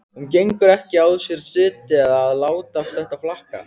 Hún getur ekki á sér setið að láta þetta flakka.